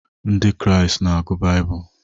Ndị Kraịst na-agụ Baịbụl.